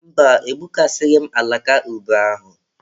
Mba, egbukasịghị m alaka ube ahụ.